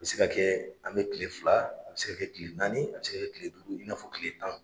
A bɛ se ka kɛ an bɛ kile fila a bɛ se kɛ kile naani a bɛ se kile duuru i n'a fɔ kile tan.